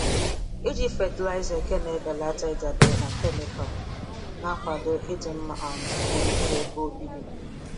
Ịji fatịlaịza eke na-ebelata ịdabere na kemịkal ma na-akwado ịdị mma um gburugburu ebe obibi.